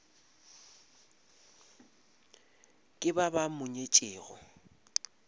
ke ba ba mo nyetšego